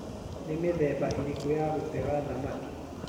Nĩ mithemba ĩrĩku ya gũtega thamaki?